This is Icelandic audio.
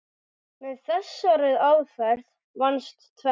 Með þessari aðferð vannst tvennt.